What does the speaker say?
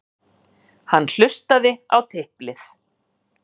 Hann hlustaði á tiplið.